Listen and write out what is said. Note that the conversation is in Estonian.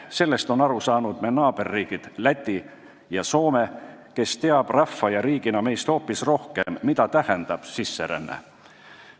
Sellest on aru saanud meie naaberriigid Läti ja Soome, kes teavad rahva ja riigina meist hoopis rohkem, mida tähendab sisseränne.